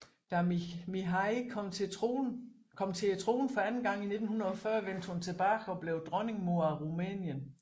Da Mihai kom til tronen for anden gang i 1940 vente hun tilbage og blev Dronningmor af Rumænien